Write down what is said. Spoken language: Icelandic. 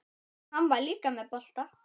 Hann var líka með bolta.